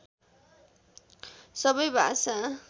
सबै भाषा